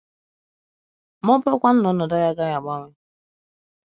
Ma ọ bụrụ kwanu na ọnọdụ anyị agaghị agbanwe?